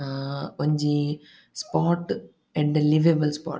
ಹಾ ಒಂಜಿ spot and liveable spot --